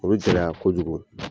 O bi gɛlɛya kojugu